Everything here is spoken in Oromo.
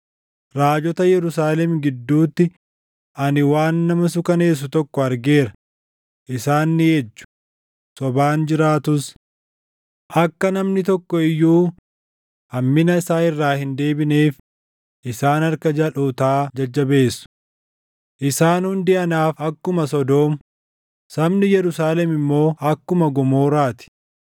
Raajota Yerusaalem gidduutti ani waan nama suukaneessu tokko argeera; isaan ni ejju; sobaan jiraatus. Akka namni tokko iyyuu hammina isaa irraa hin deebineef isaan harka jalʼootaa jajjabeessu. Isaan hundi anaaf akkuma Sodoom; sabni Yerusaalem immoo akkuma Gomoraa ti.”